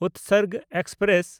Utsarg express